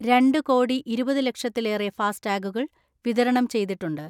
രണ്ട് കോടി ഇരുപത് ലക്ഷത്തിലേറെ ഫാസ്ടാഗുകൾ വിതരണം ചെയ്തിട്ടുണ്ട്.